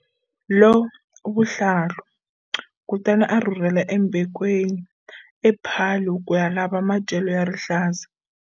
Lovuhlalu, kutani a rhurhela eMbekweni ePaarl ku ya lava madyelo ya rihlaza.